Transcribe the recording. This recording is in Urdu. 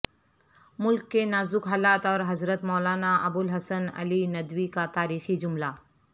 ملک کے نازک حالات اور حضرت مولانا ابوالحسن علی ندوی کا تاریخی جملہ